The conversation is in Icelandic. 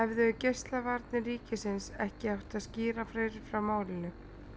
Hefðu Geislavarnir ríkisins ekki átt að skýra fyrr frá málinu?